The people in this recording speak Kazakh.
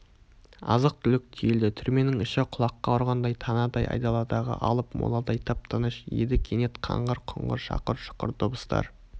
азық-түлік тиелді түрменің іші құлаққа ұрған танадай айдаладағы алып моладай тып-тыныш еді кенет қаңғыр-құңғыр шақыр-шұқыр дыбыстар